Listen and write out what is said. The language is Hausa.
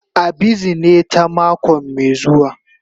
A bizine ta mako mai zuwa.